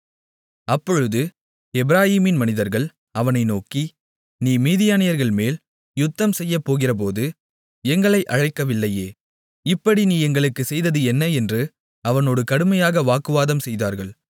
அப்பொழுது எப்பிராயீம் மனிதர்கள் அவனை நோக்கி நீ மீதியானியர்கள்மேல் யுத்தம் செய்யப்போகிறபோது எங்களை அழைக்கவில்லையே இப்படி நீ எங்களுக்குச் செய்தது என்ன என்று அவனோடு கடுமையாக வாக்குவாதம்செய்தார்கள்